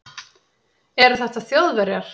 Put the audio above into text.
Eru þetta Þjóðverjar?